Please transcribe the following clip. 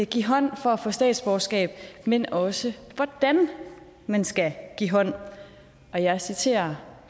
give hånd for at få statsborgerskab men også hvordan man skal give hånd og jeg citerer